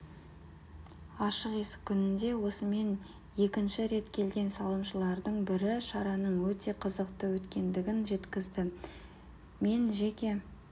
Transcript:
ашық есік күніне осымен екінші рет келген салымшылардың бірі шараның өте қызықты өткендігін жеткізді мен жеке